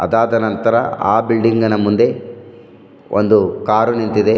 ಅದಾದ ನಂತರ ಆ ಬಿಲ್ಡಿಂಗ್ ನ ಮುಂದೆ ಒಂದು ಕಾರ್ ನಿಂತಿದೆ.